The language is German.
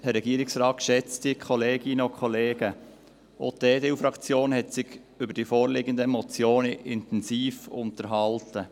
Auch die EDU-Fraktion hat sich über die vorliegenden Motionen intensiv unterhalten.